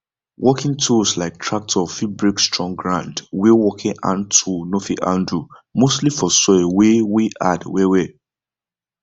working tools like tractor fit break strong ground wey working hand tool no fit handle mostly for soil wey wey hard wellwell